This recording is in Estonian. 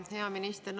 Hea minister!